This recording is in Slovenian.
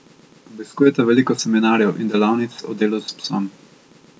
Obiskujeta veliko seminarjev in delavnic o delu s psom.